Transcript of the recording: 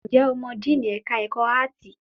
Ǹjẹ́ o mọ díìnì ẹ̀ka ẹ̀kọ́ áàtì?